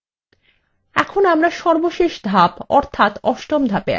এখন আমরা সর্বশেষ ধাপ অর্থাত অষ্টম ধাপে আছি